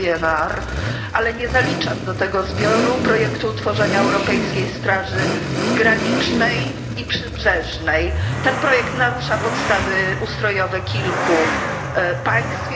PNR, ale nie zaliczam do tego zbioru projektu utworzenia europejskiej straży granicznej i przybrzeżnej. Ten projekt narusza podstawy ustrojowe kilku państw.